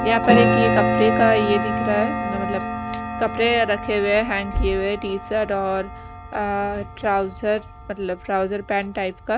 यहाँ पर एक ये कपरे का ये दिख रहा है मेरा मतलब कपड़े रखे हुए हैं हैंग किए हुए टी शर्ट और अ ट्राउजर मतलब ट्राउजर पैंट टाइप का --